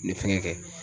Ni fɛngɛ